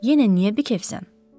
Yenə niyə bikefsən?